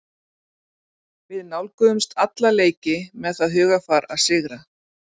Við nálgumst alla leiki með það hugarfar að sigra.